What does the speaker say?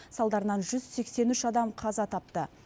салдарынан жүз сексен үш адам қаза тапты